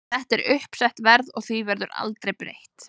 Þetta er uppsett verð og því verður aldrei breytt.